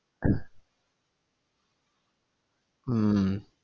ഉം